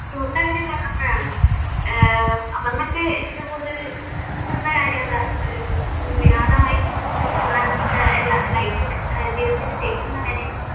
ടൂറിൻറെ കാര്യം പറഞ്ഞപ്പോഴാണ് ഏർ അപർണ്ണയ്ക്ക് ഏറ്റവും കൂടുതൽ ഇഷ്ട്ടപ്പെടുന്ന കാര്യമെന്താ ഒരു ഒരു വിനോദമായിട്ട് അപർണ്ണ എല്ലാ ലൈഫില് ജീവിതത്തില് ചെയ്യുന്ന കാര്യങ്ങൾ?